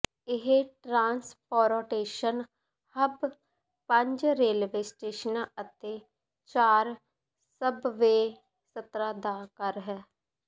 ਇਹ transportation hub ਪੰਜ railway ਸਟੇਸ਼ਨਾਂ ਅਤੇ ਚਾਰ ਸਬਵੇਅ ਸਤਰਾਂ ਦਾ ਘਰ ਹੈ